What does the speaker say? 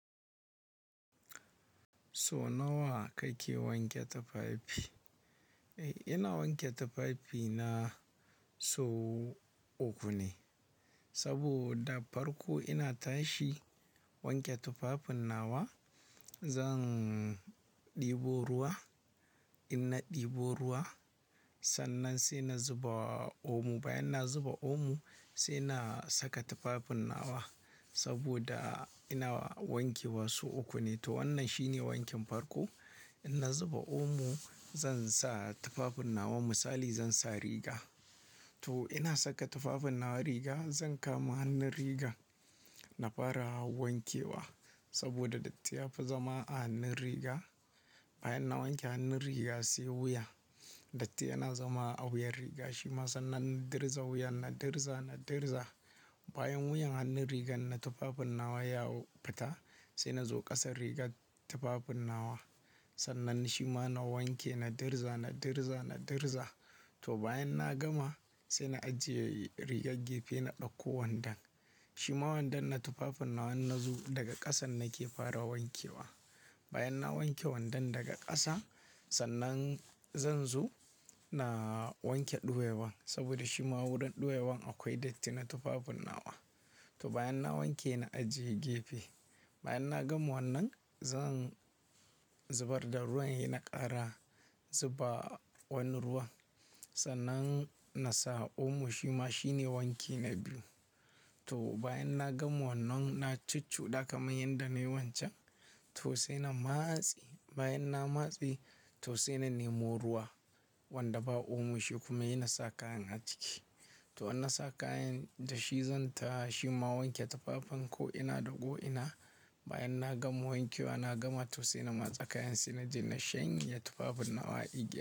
So nawa kake wanke tufafi? Eh ina wanke tufafi na sau uku ne, saboda farko ina tashi wanke tufafin nawa. Zan ɗebo ruwa, ina ɗebo ruwa sannan sai na zuba omo. Bayan na zuba omo sai na saka tufafin nawa saboda ina wanke wasu uku ne. To wannan shine wankin farko. Ina zuba omo, zan sa tufafin nawa misali zan sa riga. To ina saka tufafin nawa riga zan kama hannun riga na fara wankewa saboda datti ya fi zama a hannun riga. Bayan na wanke hannun riga sai wuya, datti yana zama a wuyan riga shima sannan na dirza wuya, na dirza, na dirza. Bayan wuyan hannun rigan na tufafin nawa ya fita sai na zo ƙasan rigar tufafin nawa. Sannan shima na wanke, na dirza, na dirza, na dirza. To bayan na gama sai na ajiye rigar gefe na ɗauko wandon. Shima wandon na tufafin nawa na zo daga ƙasan nake fara wankewa. Bayan na wanke wandon daga ƙasa sannan zan zo na wanke ɗuwewan saboda shima wurin ɗuwewan akwai datti na tufafin nawa. To bayan na wanke na ajiye gefe. Bayan na gama wannan zan zubar da ruwan he na ƙara zuba wani ruwa. Sannan na sa omo shima shine wanki na biyu. To bayan na gama wannan na cucuɗa kamar yadda na yi wancan to sai na matsi. Bayan na matse to sai na nemo ruwa wanda ba omo shi kuma ina sa kayan a ciki. To ina sa kayan da shi zan tashi ma wanke tufafen ko ina ɗauko ina. Bayan na gama wanke wa na gama to sai na matsa kayan sai na je na shanye tufafin nawa igiya.